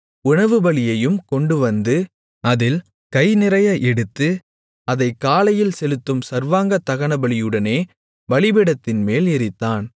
உணவுபலியையும் கொண்டுவந்து அதில் கைநிறைய எடுத்து அதைக் காலையில் செலுத்தும் சர்வாங்கதகனபலியுடனே பலிபீடத்தின்மேல் எரித்தான்